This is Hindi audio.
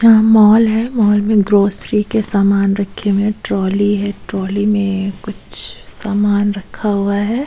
यहां मॉल है मॉल में ग्रोसरी के सामान रखे हुए हैं ट्रॉली है ट्रॉली में कुछ सामान रखा हुआ है।